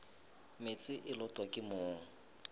meetse e lotwa ke mong